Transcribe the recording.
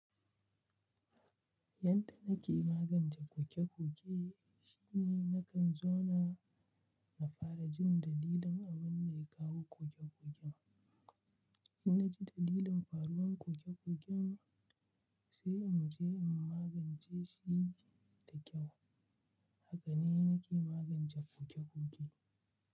Yanda nake magance koke-koke shine nakan zauna na fara jin dalilin abun da ya kawo koke-koken. In na ji dalilin faruwar koke-koken sai in magance shi da kyau. Haka ne nake magance ƙoke-ƙoke.